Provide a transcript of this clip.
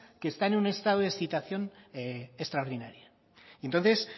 que están en un estado de excitación extraordinaria entonces